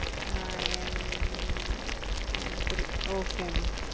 Nine nine three okay mam